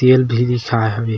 तेल भी बिसाय हवे।